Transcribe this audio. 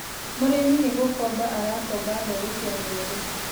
Mũrĩmi nĩ gũkomba arakomba mbegũ cia mbembe.